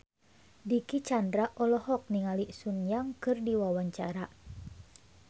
Dicky Chandra olohok ningali Sun Yang keur diwawancara